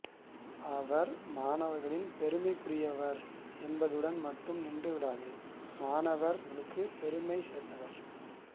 அவர் மாணவர்களின் பெருமைக்குரியவர் என் பதுடன் மட்டும் நின்றுவிடாது மாணவர் களுக்கும் பெருமை சேர்த்தவர்